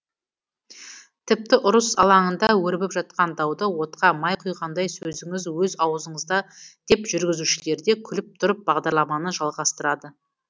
тіпті ұрыс алаңында өрбіп жатқан дауды отқа май құйғандай сөзіңіз өз аузыңызда деп жүргізушілерде күліп тұрып бағдарламаны жалғастырады